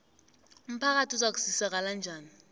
umphakathi uzakusizakala njani